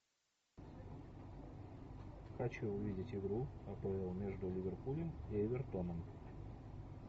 хочу увидеть игру апл между ливерпулем и эвертоном